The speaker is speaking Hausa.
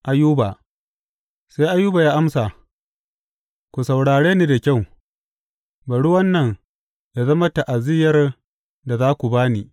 Ayuba Sai Ayuba ya amsa, Ku saurare ni da kyau; bari wannan yă zama ta’aziyyar da za ku ba ni.